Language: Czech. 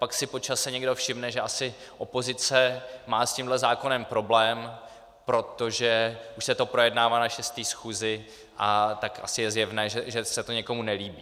Pak si po čase někdo všimne, že asi opozice má s tímhle zákonem problém, protože už se to projednává na šesté schůzi, tak asi je zjevné, že se to někomu nelíbí.